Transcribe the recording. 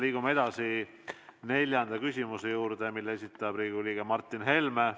Liigume edasi neljanda küsimuse juurde, mille esitab Riigikogu liige Martin Helme.